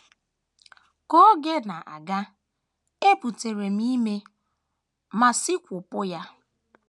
Ka oge na - aga, ebutere m ime ma sikwopụ ya.